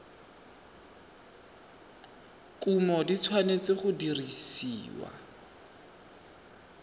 kumo di tshwanetse go dirisiwa